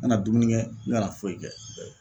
Ngana dumuni kɛ n ngana foyi kɛ